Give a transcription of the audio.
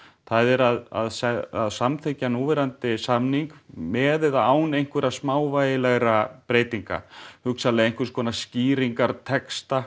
það er að samþykkja núverandi samning með eða án einhverra smávægilegra breytinga hugsanlega einhvers konar skýringartexta